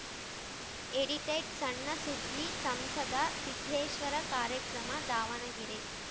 edited ಸಣ್ಣ ಸುದ್ದಿ ಸಂಸದ ಸಿದ್ದೇಶ್ವರ ಕಾರ್ಯಕ್ರಮ ದಾವಣಗೆರೆ